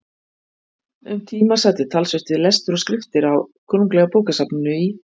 Um tíma sat ég talsvert við lestur og skriftir á Konunglega bókasafninu í